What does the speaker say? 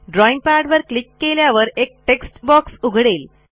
drawing पॅडवर click केल्यावर एक टेक्स्ट बॉक्स उघडेल